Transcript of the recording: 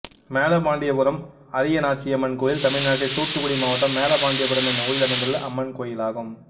மேலபாண்டியாபுரம் அரியநாச்சியம்மன் கோயில் தமிழ்நாட்டில் தூத்துக்குடி மாவட்டம் மேலபாண்டியாபுரம் என்னும் ஊரில் அமைந்துள்ள அம்மன் கோயிலாகும்